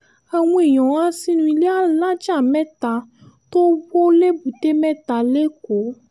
àwọn èèyàn há sínú ilé alájà mẹ́ta tó wọ lẹ́bùté-mẹ́ta lẹ́kọ̀ọ́